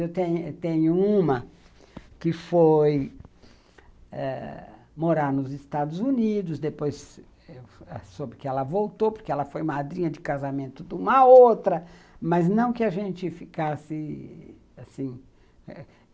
Eu tenho tenho uma que foi ãh morar nos Estados Unidos, depois soube que ela voltou porque ela foi madrinha de casamento de uma outra, mas não que a gente ficasse assim.